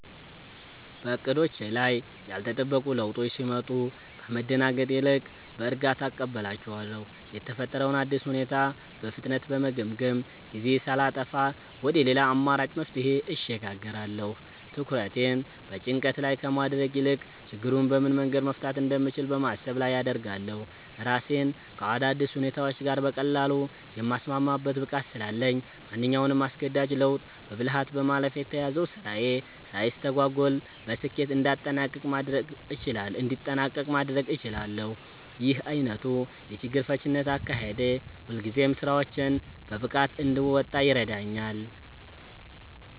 በዕቅዶቼ ላይ ያልተጠበቁ ለውጦች ሲመጡ ከመደናገጥ ይልቅ በእርጋታ እቀበላቸዋለሁ። የተፈጠረውን አዲስ ሁኔታ በፍጥነት በመገምገም፣ ጊዜ ሳላጠፋ ወደ ሌላ አማራጭ መፍትሄ እሸጋገራለሁ። ትኩረቴን በጭንቀት ላይ ከማድረግ ይልቅ ችግሩን በምን መንገድ መፍታት እንደምችል በማሰብ ላይ አደርጋለሁ። ራሴን ከአዳዲስ ሁኔታዎች ጋር በቀላሉ የማስማማት ብቃት ስላለኝ፣ ማንኛውንም አስገዳጅ ለውጥ በብልሃት በማለፍ የተያዘው ስራዬ ሳይስተጓጎል በስኬት እንዲጠናቀቅ ማድረግ እችላለሁ። ይህ ዓይነቱ የችግር ፈቺነት አካሄዴ ሁልጊዜም ስራዎቼን በብቃት እንድወጣ ይረዳኛል።